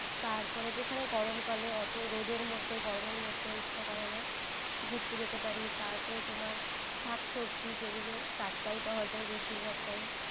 তারপরে যেখানে গরমকালে অত রোদের মধ্যে গরমের মধ্যে ইচ্ছা করে না ঘুরতে যেতে পারি। তারপরে তোমার শাক সবজি যেগুলো টাটকাই পাওয়া যায় বেশিরভাগ time